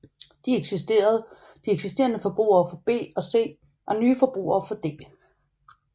De eksisterende forbrugere får B og C og nye forbrugere får D